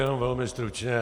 Jenom velmi stručně.